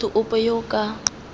motho ope yo o ka